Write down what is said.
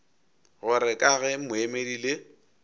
gore ka ge moemedi le